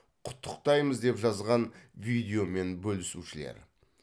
құттықтаймыз деп жазған видеомен бөлісушілер